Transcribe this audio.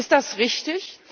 Ist das richtig?